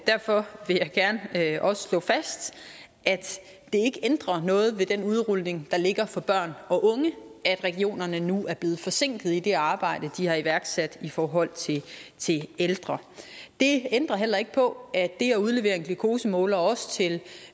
derfor vil jeg også gerne slå fast at det ikke ændrer noget ved den udrulning der ligger for børn og unge at regionerne nu er blevet forsinket i det arbejde de har iværksat i forhold til ældre det ændrer heller ikke på at det at udlevere en glukosemåler også til